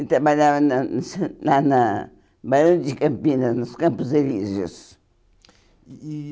Ele trabalhava na lá na Barão de Campinas, nos Campos Elíseos. E e